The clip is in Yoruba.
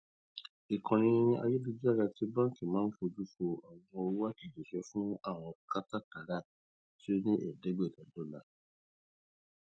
ìkànni ayélujára ti bánkì máa n fojú fò àwọn owó àtẹjíṣẹ fún àwọn kátàkárà tí ó lé ní ẹẹdẹgbẹta dọla